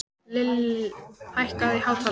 Lill, hækkaðu í hátalaranum.